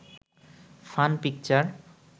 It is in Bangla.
fun picture